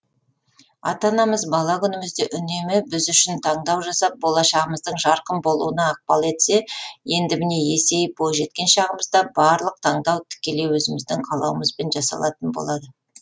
ата анамыз бала күнімізде үнемі біз үшін таңдау жасап болашағымыздың жарқын болуына ықпал етсе енді міне есейіп бойжеткен шағымызда барлық таңдау тікелей өзіміздің қалауымызбен жасалатын болады